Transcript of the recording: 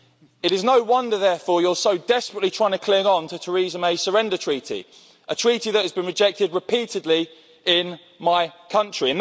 It is no wonder, therefore, you're so desperately trying to cling on to Theresa May's surrender treaty, a treaty that has been rejected repeatedly in my country.